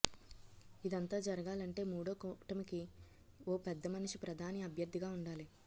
ఇదంతా జరగాలంటే మూడో కూటమికి ఓ పెద్దమనిషి ప్రధాని అభ్యర్థిగా ఉండాలి